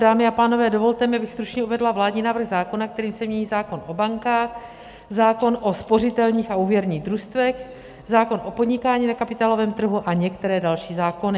Dámy a pánové, dovolte mi, abych stručně uvedla vládní návrh zákona, kterým se mění zákon o bankách, zákon o spořitelních a úvěrních družstvech, zákon o podnikání na kapitálovém trhu a některé další zákony.